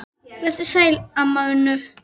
Vertu sæl, amma Unnur.